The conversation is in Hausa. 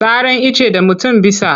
Saran icce da mutum bisa.